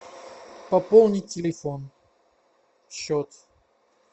пополнить телефон счет